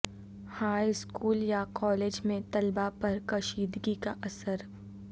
high school یا college میں طلباء پر کشیدگی کا اثر